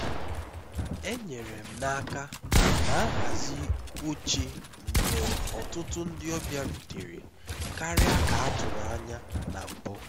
enyere m aka na nhazi oche mgbe ọtụtụ ndị ọbịa rutere karịa ka a tụrụ anya na mbụ